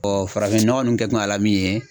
farafinnɔgɔ nunnu kɛ kun ya la min ye